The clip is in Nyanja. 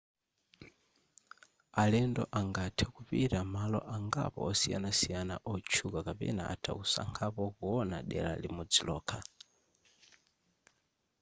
alendo angathe kupita malo angapo osiyanasiyana otchuka kapena atha kusankhapo kuona dera limodzi lokha